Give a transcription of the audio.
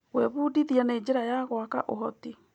Gwĩbundithia nĩ njĩra ya gwaka ũhoti.